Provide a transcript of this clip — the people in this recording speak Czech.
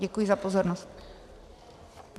Děkuji za pozornost.